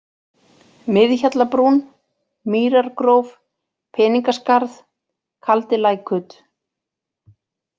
Miðhjallabrún, Mýrargróf, Peningaskarð, Kaldilækut